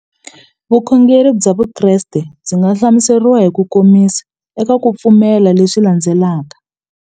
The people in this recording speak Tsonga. Vukhongeri bya Vukreste byi nga hlamuseriwa hi kukomisa eka ku pfumela leswi landzelaka.